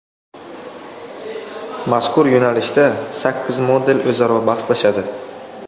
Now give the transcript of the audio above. Mazkur yo‘nalishda sakkiz model o‘zaro bahslashadi.